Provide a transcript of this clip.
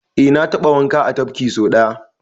Eh na taɓa wanka a tafki so ɗaya.